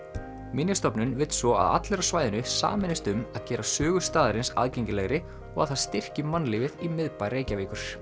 minjastofnun vill svo að allir á svæðinu sameinist um að gera sögu staðarins aðgengilegri og að það styrki mannlífið í miðbæ Reykjavíkur